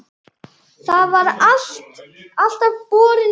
Það var alltaf borin von